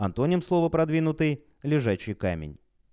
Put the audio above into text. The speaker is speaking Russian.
антоним слова продвинутый лежачий камень